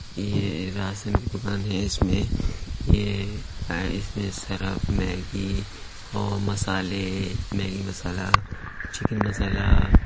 ये राशन की दुकान है इसमें ये इसमें सरफ मैगी ओ मसाले मैगी मसाला चिकन मसाला --